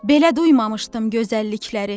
Belə duymamışdım gözəllikləri.